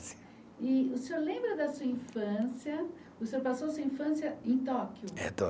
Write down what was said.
E o senhor lembra da sua infância, o senhor passou a sua infância em Tóquio? É